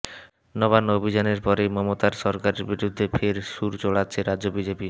নবান্ন অভিযানের পরেই মমতার সরকারের বিরুদ্ধে ফের সুর চড়াচ্ছে রাজ্য বিজেপি